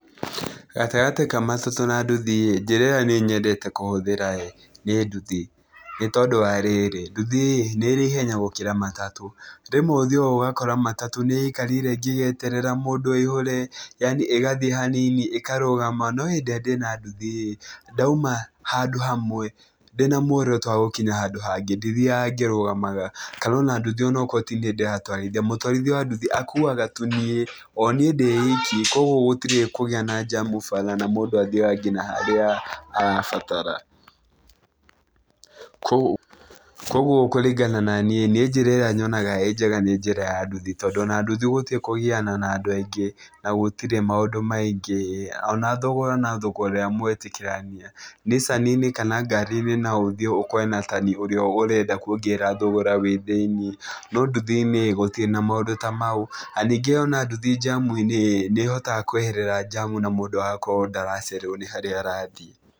Gatagatĩ ka matatũ na nduthi ĩĩ, njĩra ĩrĩa niĩ nyendete kũhũthĩra ĩĩ, nĩ nduthi. Nĩ tondũ wa rĩrĩ, nduthi ĩĩ, nĩ ĩrĩ ihenya gũkĩra matatũ. Rĩmwe ũthiaga ũgakora matatũ nĩ ĩikarĩre ĩngĩgeterera mũndũ ĩihũre, yaani ĩgathiĩ hanini, ĩkarũgama. No hĩndĩ ĩrĩa ndĩna nduthi ĩĩ, ndauma handũ hamwe, ndĩna muoroto wa gũkinya handũ hangĩ, ndithiaga ngĩrũgamaga. Kana ona nduthi onokorwo ti niĩ ndĩratwarithia, mũtwarithia wa nduthi akuaga tu niĩ, o niĩ ndĩ iki. Kũguo gũtirĩ kũgĩa na njamu bara, na mũndũ athiaga nginya harĩa arabatara. Koguo kũringana naniĩ, niĩ njĩra ĩrĩa nyonaga ĩĩ njega nĩ njĩra ya nduthi, tondũ ona nduthi gũtirĩ kũgiana na andũ aingĩ, na gũtirĩ maũndũ maingĩ. Ona thogora no thogora ũrĩa mwetĩkĩrania. Nicani-inĩ kana ngari-inĩ no ũthiĩ ũkorane na tani ũrĩa ũrenda kuongerera thogora wĩ thĩiniĩ, no nduthi-inĩ gũtirĩ na maũndũ ta mau. Na ningĩ ona nduthi njamu-inĩ ĩĩ, nĩ ĩhotaga kweherera njamu na mũndũ agakorwo ndaracererwo nĩ harĩa arathi.